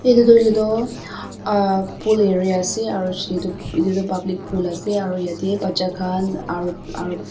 edu tu hoilae toh pool area ase aro edu tu public pool ase aro bacha khan aro fam --